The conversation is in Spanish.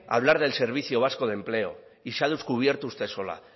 a hablar del servicio vasco de empleo y se ha descubierto usted sola